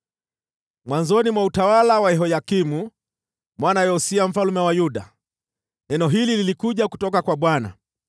Mwanzoni mwa utawala wa Yehoyakimu mwana wa Yosia mfalme wa Yuda, neno hili lilikuja kutoka kwa Bwana :